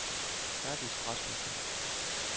Herdis Rasmussen